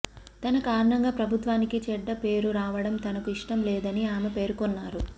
తన కారణంగా ప్రభుత్వానికి చెడ్డపేరు రావడం తనకు ఇష్టం లేదని ఆమె పేర్కొన్నారు